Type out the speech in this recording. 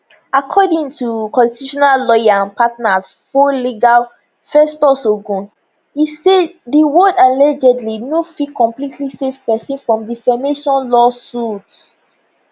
according to constitutional lawyer and partner at folegal festus ogun e say di word allegedly no fit completely save pesin from defamation lawsuit